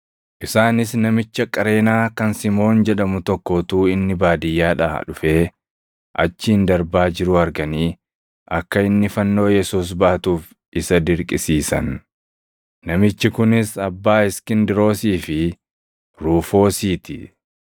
Isaanis namicha Qareenaa + 15:21 Qareenaan magaalaa Giriik kan qarqara kaaba Afriikaa naannoo harʼa Liibiyaa jedhamutti argamuu dha. kan Simoon jedhamu tokko utuu inni baadiyyaadhaa dhufee achiin darbaa jiruu arganii akka inni fannoo Yesuus baatuuf isa dirqisiisan. Namichi kunis abbaa Iskindiroosii fi Ruufoosii ti.